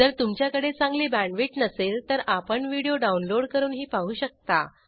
जर तुमच्याकडे चांगली बॅण्डविड्थ नसेल तर आपण व्हिडिओ डाउनलोड करूनही पाहू शकता